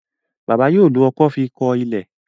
bàbá yóò ló ọkọ́ fí kò ilé.